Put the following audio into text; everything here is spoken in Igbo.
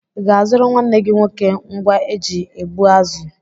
I ga-azụrụ nwanne gị nwoke ngwa eji egbu azụ?